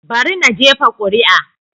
Bari na jefa kuri'a.